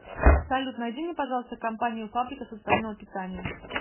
салют найди мне пожалуйста компанию фабрика социального питания